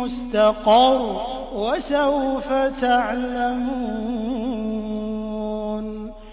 مُّسْتَقَرٌّ ۚ وَسَوْفَ تَعْلَمُونَ